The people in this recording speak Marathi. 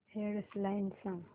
हेड लाइन्स सांग